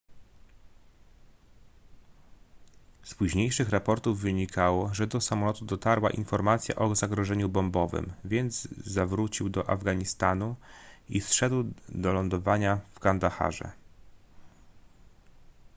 z późniejszych raportów wynikało że do samolotu dotarła informacja o zagrożeniu bombowym więc zawrócił do afganistanu i zszedł do lądowania w kandaharze